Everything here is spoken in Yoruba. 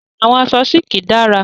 Àwọn aṣọ sílíkì dára.